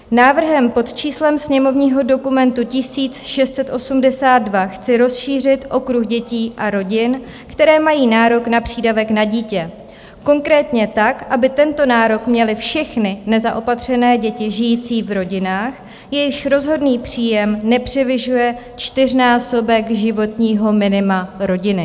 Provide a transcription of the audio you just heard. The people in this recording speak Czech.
Návrhem pod číslem sněmovního dokumentu 1682 chci rozšířit okruh dětí a rodin, které mají nárok na přídavek na dítě, konkrétně tak, aby tento nárok měly všechny nezaopatřené děti žijící v rodinách, jejichž rozhodný příjem nepřevyšuje čtyřnásobek životního minima rodiny.